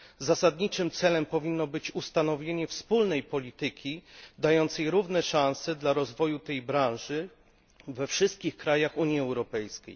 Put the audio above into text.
Zasadniczym celem powinno być ustanowienie wspólnej polityki dającej równe szanse dla rozwoju tej branży we wszystkich krajach Unii Europejskiej.